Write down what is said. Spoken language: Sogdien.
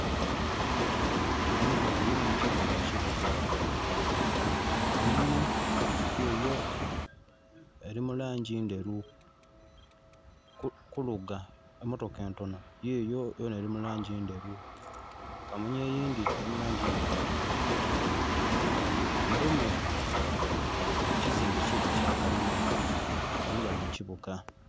Amamotoka mangi nga gali mu kibuga. Kamunye yiyo eri mu langi ndheru, kuluga emotoka entono yiyo yonha eri mu langi ndheru, kamunye eyindi eri mu langi ndhirugavu, mulimu ekizimbe kikyo kyakalina. Banho bali mu kibuga.